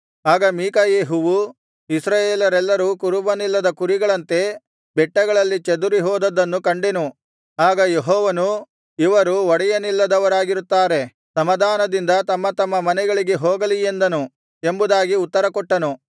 ಆಗ ಮೀಕಾಯೆಹುವು ಇಸ್ರಾಯೇಲರೆಲ್ಲರು ಕುರುಬನಿಲ್ಲದ ಕುರಿಗಳಂತೆ ಬೆಟ್ಟಗಳಲ್ಲಿ ಚದುರಿಹೋದದ್ದನ್ನು ಕಂಡೆನು ಆಗ ಯೆಹೋವನು ಇವರು ಒಡೆಯನಿಲ್ಲದವರಾಗಿರುತ್ತಾರೆ ಸಮಾಧಾನದಿಂದ ತಮ್ಮ ತಮ್ಮ ಮನೆಗಳಿಗೆ ಹೋಗಲಿ ಎಂದನು ಎಂಬುದಾಗಿ ಉತ್ತರಕೊಟ್ಟನು